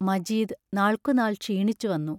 മജീദ് നാൾക്കുനാൾ ക്ഷീണിച്ചുവന്നു.